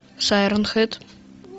шайрон хед